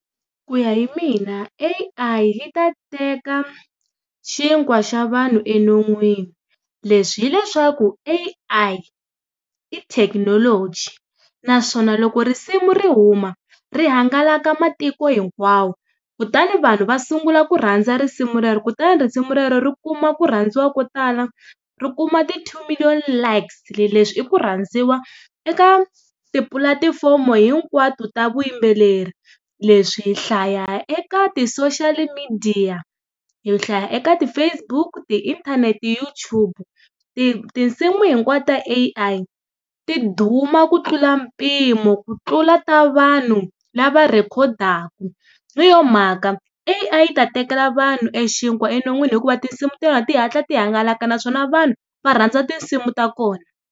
Ku ya hi mina A_I yi ta teka xinkwa xa vanhu enon'wini, leswi hileswaku A_I i thekinoloji naswona loko risimu ri huma ri hangalaka matiko hinkwawo kutani vanhu va sungula ku rhandza risimu rero, kutani risimu rero ri kuma ku rhandziwa ko tala ri kuma ti two million likes. Leswi i ku rhandziwa eka tipulatifomo hinkwato ta vuyimbeleri, leswi hi hlaya eka ti-social midiya, hi hlaya eka ti-Facebook, ti-inthanete, YouTube, tinsimu hinkwato ta A_I ti duma ku tlula mpimo ku tlula ta vanhu lava rhekhodaka, hi yo mhaka A_I yi ta tekela vanhu e xinkwa enon'wini hikuva tinsimu ta vona ti hatla ti hangalaka naswona vanhu va rhandza tinsimu ta kona.